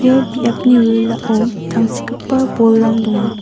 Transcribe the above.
ia biapni wilwilao tangsekgipa bolrang donga.